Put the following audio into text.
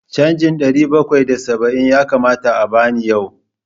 Canjin ɗari bakwai da saba'in ya kamata a ba ni yau.